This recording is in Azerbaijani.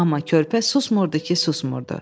Amma körpə susmurdu ki, susmurdu.